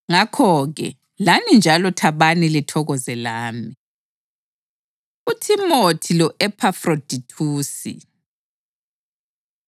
Ngakho-ke, lani njalo thabani lithokoze lami. UThimothi Lo-Ephafrodithusi